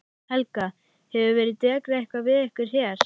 Helga: Hefur verið dekrað eitthvað við ykkur hér?